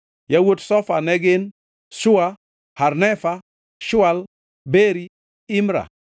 Yawuot Zofa ne gin: Sua, Harnefa, Shual, Beri, Imra.